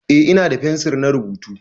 Eh ina da fensir na rubutu.